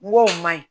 N go o ma ɲi